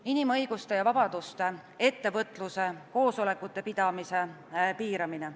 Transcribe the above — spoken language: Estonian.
See on inimõiguste ja -vabaduste, ettevõtluse, koosolekute pidamise õiguse piiramine.